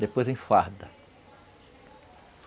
Depois em farda.